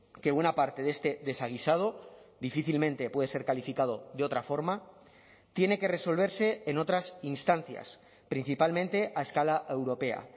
que buena parte de este desaguisado difícilmente puede ser calificado de otra forma tiene que resolverse en otras instancias principalmente a escala europea